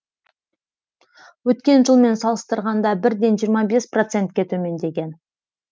өткен жылмен салыстырғанда бірден жиырма бес процентке төмендеген